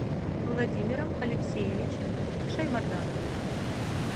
владимиром алексеевичем шаймардановым